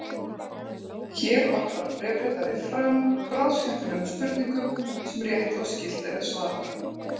Hér varpar bréfritari fram bráðskemmtilegum spurningum sem rétt og skylt er að svara.